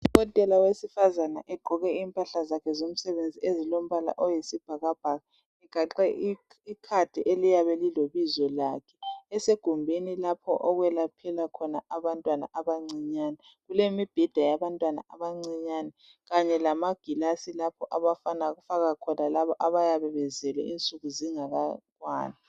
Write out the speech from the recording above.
Udokotela wesifazana egqoke impahla zakhe zomsebenzi ezilombala oyisibhakabhaka eganxe ikhadi eliyabe lile bizo lakhe esegumbeni lapha okwelaphela khona abantwana abancinyane.